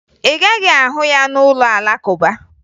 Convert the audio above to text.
Ị gaghị ahụ ya n'ụlọ Alakụba